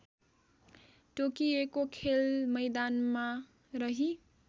तोकिएको खेलमैदानमा रही